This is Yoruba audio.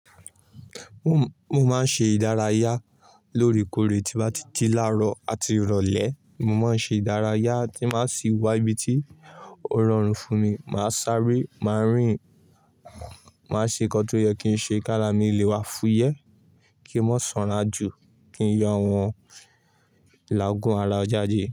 Mo máa ń ṣe ìdárayá loórekoore tí bá ti ji láárọ̀ àti ìrọ̀lẹ́. Mo máa ń ṣe ìdárayá tí máa sì wá ibi tí ó rọrùn fún mi. Màá sáré, màá rìn, màá ṣe nǹkan tó yẹ kí n ṣe k'ára mi le wa fúyẹ́, kí n má sanra jù, kí n yọ àwọn ilàágùn ara jàde.